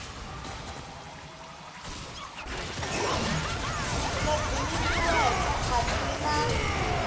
lebyi nyikiweke a byi na